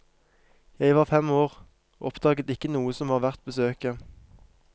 Jeg var fem år, og oppdaget ikke noe som var verdt besøket.